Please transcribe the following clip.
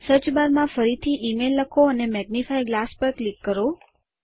search bar માં ફરીથી email લખો અને મેગ્નિફાઇંગ ગ્લાસ પર ક્લિક કરો